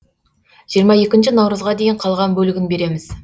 жиырма екінші наурызға дейін қалған бөлігін береміз